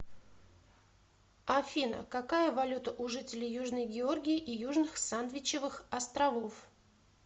афина какая валюта у жителей южной георгии и южных сандвичевых островов